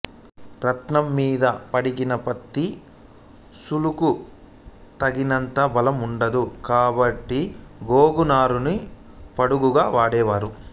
రాట్నం మీద వడికిన పత్తి నూలుకు తగినంత బలం ఉండదు కాబట్టి గోగునారను పడుగుగా వాడేవారు